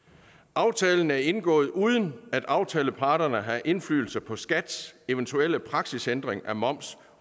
aftalen er indgået uden at aftaleparterne har indflydelse på skats eventuelle praksisændring af moms